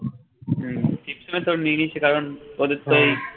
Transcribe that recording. হুম ঠিক সময় তোর নেয়নি সেটার কারণ ওদেরতো এই